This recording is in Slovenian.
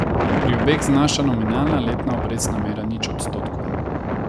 Pri obeh znaša nominalna letna obrestna mera nič odstotkov.